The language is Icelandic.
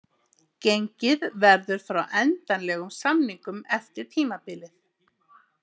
Gengið verður frá endanlegum samningum eftir tímabilið.